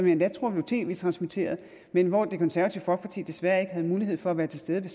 endda tror blev tv transmitteret men hvor det konservative folkeparti desværre ikke havde mulighed for at være til stede